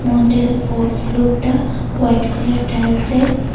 মন্দিরের ফো-ফ্লোরটা হোয়াইট কালারের টাইলসের।